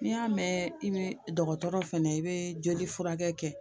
N'i y'a mɛn i bɛ dɔgɔtɔrɔ fɛnɛ i bɛ joli furakɛ kɛ